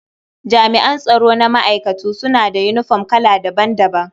Jami'an tsaro na ma'aikatu suna da yinifom kala daban-daban.